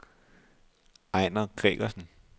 Ejner Gregersen